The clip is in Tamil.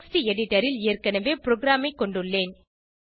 டெக்ஸ்ட் எடிட்டர் ல் ஏற்கனவே ப்ரோகிராமை கொண்டுள்ளேன்